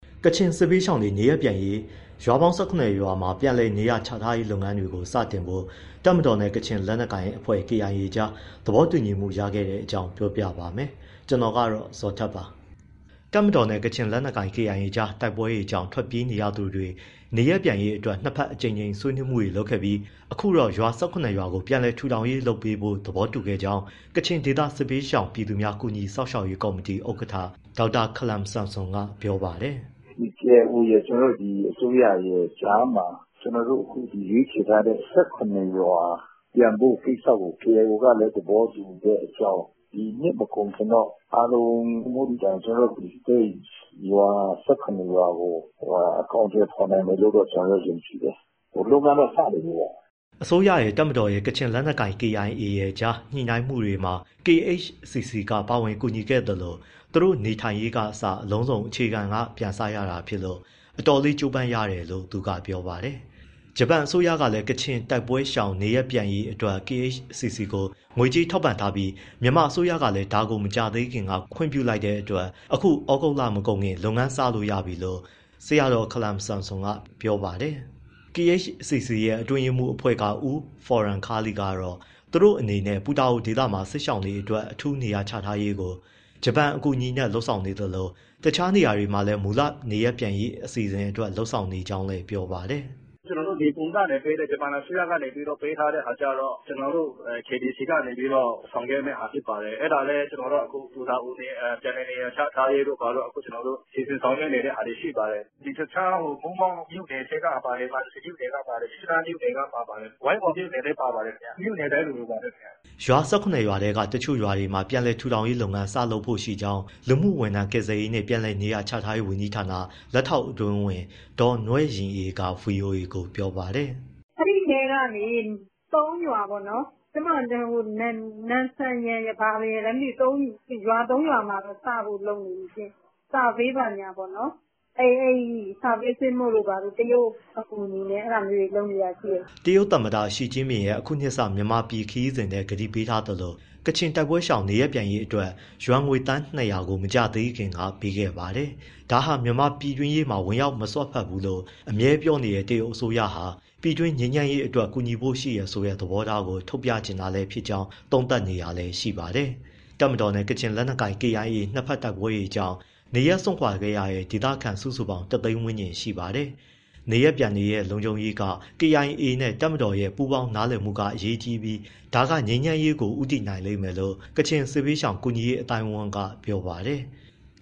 ကချင်စစ်ဘေးရှောင်တွေ နေရပ်ပြန်နိုင်ရေး ရွာပေါင်း ၁၇ ရွာမှာ ပြန်လည်နေရာချထားမယ့် လုပ်ငန်းတွေ စတင်ဖို့ တပ်မတော်နဲ့ ကချင် လက်နက်ကိုင်အဖွဲ့ KIA ကြား သဘောတူညီမှုရခဲ့တဲ့အကြောင်း ပြောပြမှာပါ။ ဗွီအိုအေမြန်မာပိုင်းသတင်းထောက် ကိုဇော်ထက်က သတင်းပေးပို့ထားပါတယ်။ တပ်မတော်နဲ့ ကချင်လက်နက်ကိုင် KIA ကြား တိုက်ပွဲတွေကြောင့် ထွက်ပြေးနေရသူတွေ နေရပ်ပြန်ရေးအတွက် နှစ်ဘက်အကြိမ်ကြိမ် ဆွေးနွေးမှုတွေ လုပ်ခဲ့ပြီး အခုတော့ ရွာ ၁၇ ရွာကို ပြန်လည်ထူထောင်ရေးလုပ်ပေးဖို့ သဘောတူခဲ့ကြောင်း ကချင်ဒေသစစ်ဘေးရှောင် ပြည်သူများ ကူညီစောင့်ရှောက်ရေးကော်မတီ ဥက္ကဋ္ဌ ဒေါက်တာ Hkalam Samson က ပြောပါတယ်။ “KIO ရယ်၊ အစိုးရရယ် ကြားမှာ ကျနော်တို့ အခုရွေးချယ်ထားတဲ့ ၁၇ ရွာ ပြန်ဖို့ကိစ္စကိုKIO ကလည်း သဘောတူတဲ့အကြောင်း၊ ဒီနှစ်မကုန်ခင်တော့ အားလုံးမဟုတ်သည့်တိုင် အဲဒီ ၁၇ ရွာကို အကောင်အထည်ဖော်နိုင်မယ်လို့ ကျနော်တို့ ယုံကြည်တယ်။ လုပ်ငန်းတော့ စနေပြီပေါ့။” အစိုးရရယ်၊ တပ်မတော်ရယ်၊ ကချင်လက်နက်ကိုင် KIA ကြား ညှိနှိုင်းမှုတွေမှာ KHCC ကပါဝင်ကူညီခဲ့သလို သူတို့ နေထိုင်ရေးကအစ အလုံးစုံ အခြေခံက ပြန်စရတာဖြစ်လို့ အတော်လေး ကြိုးပမ်းနေရတယ်လို့ သူကပြောပါတယ်။ ဂျပန်အစိုးရကလည်း ကချင်တိုက်ပွဲရှောင်တွေ နေရပ်ပြန်ရေးအတွက် KHCC ကို ငွေကြေးထောက်ပံ့ထားပြီး မြန်မာအစိုးရကလည်း ဒါကိုမကြာသေးခင်က ခွင့်ပြုလိုက်တဲ့အတွက် အခုဩဂုတ်လမကုန်ခင် လုပ်ငန်းစလို့ရပြီလို့ ဆရာတော် ခလမ်ဆမ်ဆွမ်က ပြောပါတယ်။ KHCC အတွင်းရေးမှူးအဖွဲ့က ဦးဖော်ရမ်ခါးလီကတော့ သူတို့အနေနဲ့ ပူတာအိုဒေသမှာ စစ်ရှောင်တွေအတွက် အထူးနေရာချထားရေးကို ဂျပန်အကူအညီနဲ့ လုပ်ဆောင်နေသလို တခြားနေရာတွေမှာလည်း "မူလနေရပ်ပြန်ရေးအစီအစဉ်" အတွက် လုပ်နေကြောင်းလည်း ပြောပါတယ်။ “ကျနော်တို့ Nippon Foundation ကနေပေးတဲ့ ဂျပန်အစိုးရကပေးတဲ့ဟာကျတော့ ကျနော်တို့ KBC ကနေပြီးတော့ ဆောင်ရွက်မယ့်ဟာ ဖြစ်ပါတယ်။ အဲဒါတော့ ကျနော်တို့ အခု ပူတာအို ပြန်လည်နေရာချထားရေးတို့ ဘာတို့ စီစဉ်ဆောင်ရွက်နေတာတွေ ရှိပါတယ်။ ဒီတခြား မိုးမောက်မြို့နယ်ထဲကပါတယ်၊ မံစီမြို့နယ်ကပါတယ်၊ မြစ်ကြီးနားမြို့နယ်ကပါ ပါတယ်။ ဝိုင်းမော်မြို့နယ်လည်း ပါပါတယ်။ မြို့နယ်တိုင်းလိုလိုပါပဲ ခင်ဗျ။” ရွာ ၁၇ ရွာထဲက တချို့ရွာတွေမှာ ပြန်လည်ထူထောင်ရေးလုပ်ငန်း စလုပ်ဖို့ရှိကြောင်း လူမှုဝန်ထမ်းကယ်ဆယ်ရေးနှင့် ပြန်လည်နေရာချထားရေး ဝန်ကြီးဌာန လက်ထောက်အတွင်းဝန် ဒေါ်နွဲ့ယဉ်အေးက ဗွီအိုအေကို ပြောပါတယ်။ “အဲဒီအထဲကနေ ၃ ရွာပေါ့နော် နန်ဆမ်ရာ ဘာရယ်လည်းမသိဘူး ရွာ ၃ ရွာမှာတော့ စဖို့လုပ်နေပြီရှင့်။ Survey ဘာညာပေါ့။ Survey ဆင်းဖို့တို့ ဘာတို့၊ တရုတ် အကူအညီနဲ့ လုပ်နေတာရှိတယ်။” တရုတ်သမ္မတ Xi Jinping ရဲ့အခုနှစ်စ မြန်မာပြည်ခရီးစဉ်ထဲ ကတိပေးခဲ့သလို ကချင်တိုက်ပွဲရှောင်တွေ နေရပ်ပြန်ရေးအတွက် ယွမ်ငွေ သန်း ၂၀၀ ကို မကြာသေးခင်က ပေးခဲ့ပါတယ်။ ဒါဟာ မြန်မာ့ပြည်တွင်းရေးမှာ ဝင်ရောက်မစွက်ဖက်ဘူးလို့ အမြဲပြောနေတဲ့ တရုတ်အစိုးအရဟာ ပြည်တွင်းငြိမ်းချမ်းရေးအတွက်တော့ ကူညီဖို့ရှိတယ်ဆိုတဲ့ သဘောထားကို ထုတ်ပြချင်တာဖြစ်နိုင်ကြောင်း သုံးသပ်နေတာလည်းရှိပါတယ်။ တပ်မတော်နဲ့ ကချင်လက်နက်ကိုင် KIA နှစ်ဘက်တိုက်ပွဲတွေကြောင့် နေရာစွန့်ခွာခဲ့ရတဲ့ ဒေသခံစုစုပေါင်း ၁၀၀,၀၀၀ ဝန်းကျင်ရှိပါတယ်။ နေရပ်ပြန်တွေရဲ့ လုံခြုံရေးက KIA နဲ့ တပ်မတော်ရဲ့ပူးပေါင်းမှုနဲ့ နားလည်မှုက အရေးကြီးပြီး ဒါက ငြိမ်းချမ်းရေးကို ဦးတည်နိုင်လိမ့်မယ်လို့ ကချင်စစ်ဘေးရှောင် ကူညီရေးအသိုင်းအဝန်းက ပြောပါတယ်။